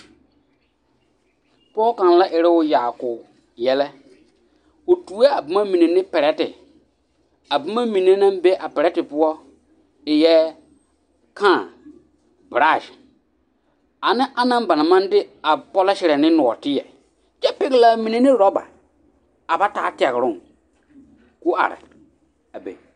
Pɔge kaŋ la eroo yaako yɛlɛ, o tuo a boma mine ne perɛte, a boma mine naŋ be a perɛte poɔ eɛɛ; kãã, boraase ane anaŋ banaŋ maŋ de a pɔleserɛ ne nɔɔteɛ kyɛ pɛgelaa mine ne rɔba a ba taa tɛgeroŋ k'o are a be.